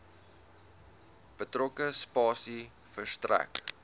betrokke spasie verstrek